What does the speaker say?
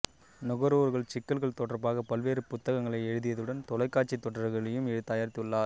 நுகர்வோர் சிக்கல்கள் தொடர்பாகப் பல்வேறு புத்தகங்களை எழுதியதுடன் தொலைக்காட்சித் தொடர்களையும் தயாரித்துள்ளார்